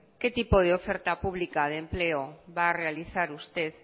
qué tipo de oferta pública de empleo va a realizar usted